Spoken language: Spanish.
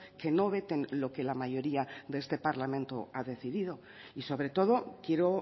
que no veten lo que la mayoría de este parlamento ha decidido y sobre todo quiero